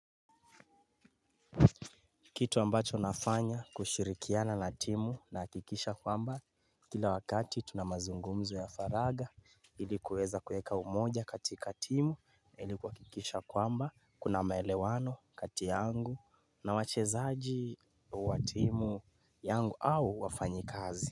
Kitu ambacho nafanya kushirikiana na timu nahakikisha kwamba kila wakati tuna mazungumzo ya faraga ilikyuweza kuweka umoja katika timu. Ili kuhakikisha kwamba kuna maelewano kati yangu na wachezaji wa timu yangu au wafanyikazi.